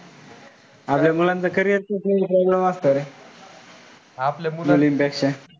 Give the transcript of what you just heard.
आपलं मुलांचं carrier च लई problem असत रे.